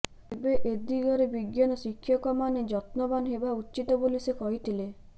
ତେବେ ଏଦିଗରେ ବିଜ୍ଞାନ ଶିକ୍ଷକମାନେ ଯତ୍ନବାନ ହେବା ଉଚିତ୍ ବୋଲି ସେ କହିଥିଲେ